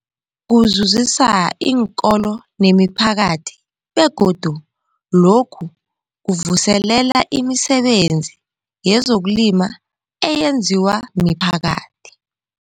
Kuzuzisa iinkolo nemiphakathi begodu lokhu kuvuselela imisebenzi yezokulima eyenziwa miphakathi.